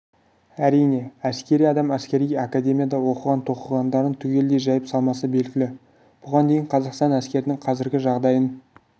әрине әскери адам әскери академияда оқыған-тоқығандарын түгелдей жайып салмасы белгілі бұған дейін қазақстан әскерінің қазіргі жағдайын